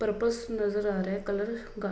purpose नजर आ रहा है कलर गा --